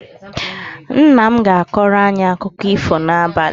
Nna m ga-akọrọ anyị akụkọ ifo n'abalị